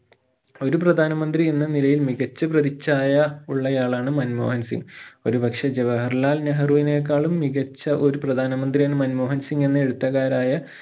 ഒരു പ്രധാന മന്ത്രി എന്ന നിലയിൽ മികച്ച പ്രതിച്ഛായ ഉള്ളയാളാണ് മൻമോഹൻ സിംഗ് ഒരു പക്ഷെ ജവഹർ ലാൽ നെഹ്‌റുവിനെക്കാളും മികച്ച ഒരു പ്രധാന മന്ത്രിയാണ് മൻമോഹൻ സിംഗെന്നു എഴുത്തുകാരായ